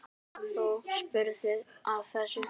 Þú spurðir að þessu.